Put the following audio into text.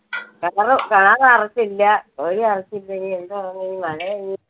ഇനി എന്തുവാവോ